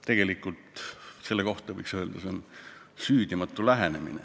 Tegelikult võiks selle kohta öelda, et see on süüdimatu lähenemine.